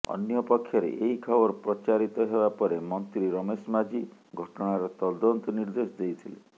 ଅନ୍ୟପକ୍ଷରେ ଏହି ଖବର ପ୍ରଚାରିତ ହେବା ପରେ ମନ୍ତ୍ରୀ ରମେଶ ମାଝୀ ଘଟଣାର ତଦନ୍ତ ନିର୍ଦ୍ଦେଶ ଦେଇଥିଲେ